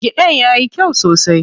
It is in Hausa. Gidan yayi kyau sosai.